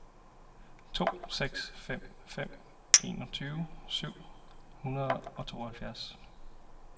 to seks fem fem enogtyve syv hundrede og tooghalvfjerds